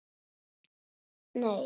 Heldurðu að þú hlaupir hratt?